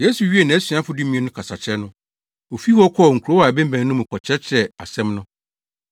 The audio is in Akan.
Yesu wiee nʼasuafo dumien no kasakyerɛ no, ofii hɔ kɔɔ nkurow a ɛbemmɛn no mu kɔkyerɛkyerɛɛ asɛm no.